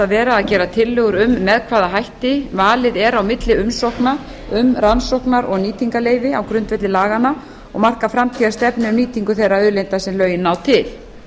vera að gera tillögur um með hvaða hætti valið er á milli umsókna um rannsóknar og nýtingarleyfi á grundvelli laganna og marka framtíðarstefnu um nýtingu þeirra auðlinda sem lögin ná til